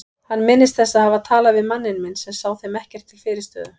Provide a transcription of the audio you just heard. Hann minnist þess að hafa talað við manninn minn sem sá þeim ekkert til fyrirstöðu.